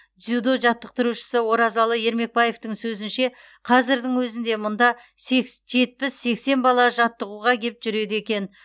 дзюдо жаттықтырушысы оразалы ермекбаевтың сөзінше қазірдің өзінде мұнда жетпіс сексен бала жаттығуға кеп жүреді екен